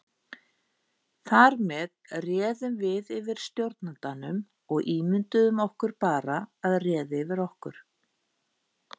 Þar með réðum við yfir stjórnandanum og ímynduðum okkur bara að réði yfir okkur.